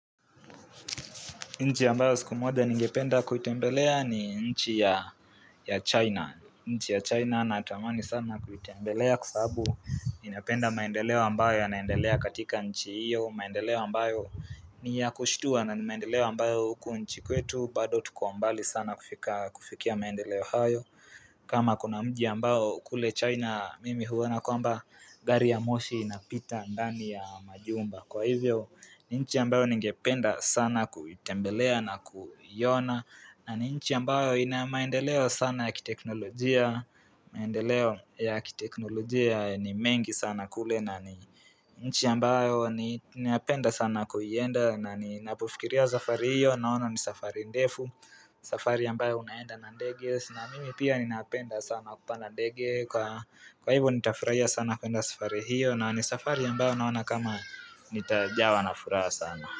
Nchi ambayo siku moja ningependa kuitembelea ni nchi ya China. Nchi ya China natamani sana kuitembelea kwa sababu ninapenda maendeleo ambayo yanaendelea katika nchi hiyo, maendeleo ambayo ni ya kushtua na ni maendeleo ambayo huku nchi kwetu bado tuko mbali sana kufikia maendeleo hayo kama kuna mji ambao kule China mimi huona kwamba gari la moshi linapita ndani ya majumba. Kwa hivyo ni nchi ambayo ningependa sana kuitembelea na kuiona na ni nchi ambayo ina maendeleo sana ya kiteknolojia maendeleo ya kiteknolojia ni mengi sana kule na ni nchi ambayo ninapenda sana kuienda na ninapofikiria safari hiyo naona ni safari ndefu safari ambayo unaenda na ndege na mimi pia ninapenda sana kupanda ndege kwa hivyo nitafurahia sana kuenda safari hiyo na ni safari ambayo naona kama nitajawa na furaha sana.